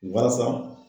Walasa